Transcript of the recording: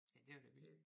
Ja det var da vildt